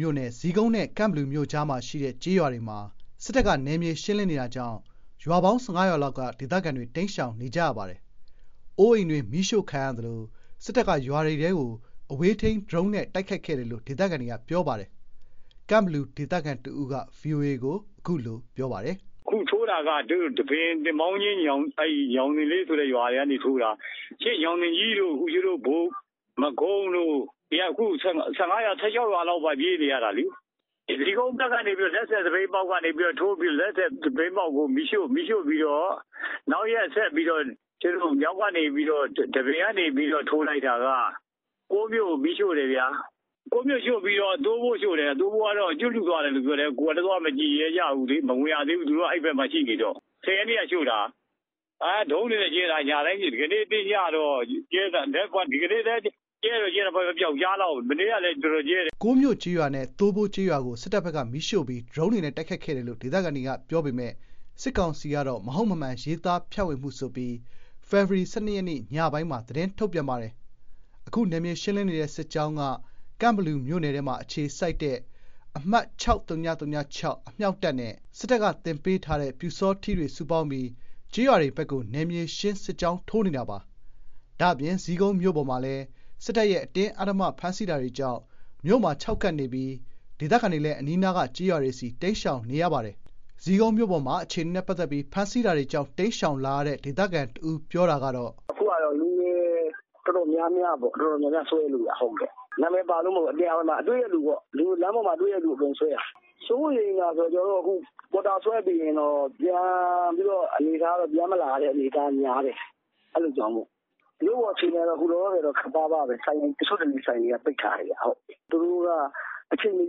မြို့နယ် ဇီးကုန်းနဲ့ ကန့်ဘလူမြို့ကြားမှာရှိတဲ့ ကျေးရွာတွေမှာ စစ်တပ်က နယ်မြေ ရှင်းလင်းနေတာကြောင့် ရွာပေါင်း ၁၅ ရွာလောက်က ဒေသခံတွေ တိမ်းရှောင်နေကြရပါတယ်။ အိုးအိမ်တွေ မီးရှို့ခံရသလို စစ်တပ်က ရွာတွေထဲကို အဝေးထိန်း ဒရုန်းနဲ့ တိုက်ခိုက်တယ်လို့ ဒေသခံတို့က ပြောပါတယ်။ ကန့်ဘလူ ဒေသခံ တဦးက ဗွီအိုအေကို အခုလို ပြောပါတယ်။ "သူတို့ အခုထိုးတာက ဒန်းပင်၊ သင်ပေါင်းကျင်း၊ ညောင်ဇင်လေးဆိုတဲ့ ရွာတွေကနေ ထိုးတာ။ ညောင်ပင်ကြီးတို့၊ ဘိုကုန်းတို့ ၁၅ ရွာ ၁၆ ရွာလောက်က ပြေးနေရတာလေ။ ဇီးကုန်းဘက်ကနေ ထိုးပြီးတော့ လက်ဆယ် သပိတ်မှောက်ဘက်ကနေပြီးတော့ ထိုးပြီးတော့ လက်ဆယ်၊ သပိတ်မှောက်ကို မီးရှို့ပြီးတော့ နောက်ရက်ကို ဒန်းပင်ကနေထိုးလိုက်တာ ကိုးမြို့ကိုမီးရှို့တယ်။ ကိုးမြို့ကိုရှို့ပြီးတော့ သိုးဘိုးကိုရှို့တယ်။ သိုးဘိုးကိုရှို့တာ သွားမကြည့်ရဲကြဘူး။ မဝင်ရသေးဘူး။ သူတို့က အဲ့ဘက်မှာရှိနေတော့။ ၁၀ ရက်နေ့က ရှို့တာ။ ဒရုန်းတွေနဲ့ညတိုင်းကြဲတာ။ ဒီကနေ့လည်း ပျောက်ကြားလောက်ကြဲတယ်။ မနေ့ကဆို တော်တော်ကိုကြဲတယ်။" ကိုးမြို့ကျေးရွာနဲ့ သိုးဘိုးကျေးရွာကို စစ်တပ်ဘက်က မီးရှို့ပြီး ဒရုန်းတွေနဲ့ တိုက်ခိုက်တယ်လို့ ဒေသခံတွေက ပြောကြပေမဲ့ စစ်ကောင်စီကတော့ မဟုတ်မမှန် ရေးသား ဖြန့်ဝေမှုဆိုပြီး ဖေဖော်ဝါရီလ ၁၂ ရက်နေ့ ညပိုင်းမှာ သတင်းထုတ်ပြန်ပါတယ်။ အခု နယ်မြေရှင်းလင်းနေတဲ့ စစ်ကြောင်းက ကန့်ဘလူမြို့နယ်ထဲမှာ အခြေစိုက်တဲ့ အမှတ် အမြှောက်တပ်နဲ့ စစ်တပ်က သင်ပေးထားတဲ့ ပျူစောထီးတွေ စုပေါင်းပြီး ကျေးရွာတွေဘက်ကို နယ်မြေရှင်း စစ်ကြောင်းထိုးနေတာပါ။ ဒါ့အပြင် ဇီးကုန်းမြို့ပေါ်မှာလည်း စစ်တပ်ရဲ့ အတင်းအဓမ္မ ဖမ်းဆီးတာတွေကြောင့် မြို့မှာ ခြောက်ကပ်နေပြီး ဒေသခံတွေလည်း အနီးနားက ကျေးရွာတွေဆီ တိမ်းရှောင်နေရပါတယ်။ ဇီးကုန်းမြို့ပေါ်မှာ အခြေအနေနဲ့ ပတ်သက်ပြီး ဖမ်းဆီးတာတွေကြောင့် တိမ်းရှောင်လာရတဲ့ ဒေသခံတဦး ပြောတာကတော့.. "အခုက လူငယ် တော်တော်များများ ဆွဲနေတာ။ နာမည်ပါလို့မဟုတ်ဘူး။ လမ်းပေါ်မှာ တွေ့တဲ့လူအကုန်ဆွဲတာ။ စိုးရိမ်တာက ပေါ်တာဆွဲပြီးရင် ပြန်မလာရမယ့် အနေအထားများတယ်။ အဲ့တာကြောင့်မို့။ မြို့ပေါ်အခြေအနေက အခုလောလောဆယ်က ခပ်ပါးပါးပဲ။ တချို့တလေ ဆိုင်တွေက ပိတ်ထားတယ်။ သူတို့က အချိန်မ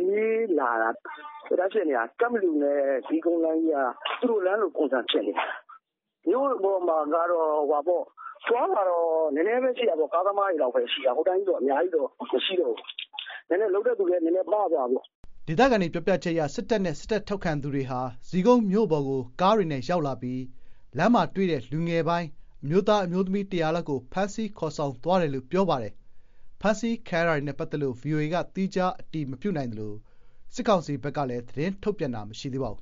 ရွေးလာတာ။ ကန့်ဘလူနဲ့ ဇီးကုန်းလမ်းကြီးက သူတို့လမ်းလို ပုံစံဖြစ်နေတာ။ မြို့ပေါ်မှာ အသွားအလာကတော့ နည်းနည်းပဲရှိတာပေါ့။ ကားသမားတွေလောက်ပဲ ရှိတော့တာ။ အများကြီးတောင် မရှိတော့ဘူး။ လုပ်တဲ့လူလည်း နည်းနည်း ပါးသွားတာပေါ့။" ဒေသခံတွေ ပြောပြချက်အရ စစ်တပ်နဲ့ စစ်တပ် ထောက်ခံသူတွေဟာ ဇီးကုန်းမြို့ပေါ်ကို ကားတွေနဲ့ ရောက်လာပြီး လမ်းမှာတွေ့တဲ့ လူငယ်ပိုင်း အမျိုးသား အမျိုးသမီး ၁၀၀ လောက်ကို ဖမ်းဆီးခေါ်ဆောင်သွားတယ်လို့ပြောပါတယ်။ ဖမ်းဆီးခံရတာတွေနဲ့ ပတ်သက်လို့ ဗွီအိုအေက သီးခြား အတည်မပြုနိုင်သေးသလို စစ်ကောင်စီဘက်ကလည်း သတင်းထုတ်ပြန်တာမရှိသေးပါဘူ